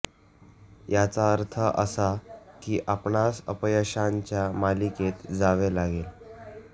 याचा अर्थ असा की आपणास अपयशांच्या मालिकेत जावे लागेल